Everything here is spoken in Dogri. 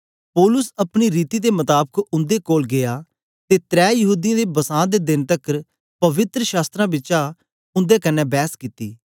पौलुस अपनी रीति दे मताबक उन्दे कोल गीया ते त्रै यहूदीयें दे बसां दे देन तकर पवित्र शास्त्रां बिचा उन्दे कन्ने बैस कित्ती